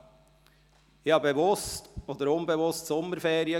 Ich hatte bewusst oder unbewusst Sommerferien.